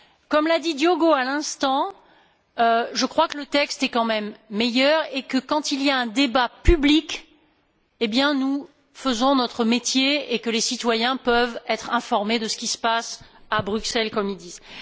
Comme l'a dit Diogo à l'instant, je crois que le texte est quand même meilleur et que, quand il y a un débat public, nous faisons notre métier, et que les citoyens peuvent être informés de ce qu'il se passe à Bruxelles, comme ils disent.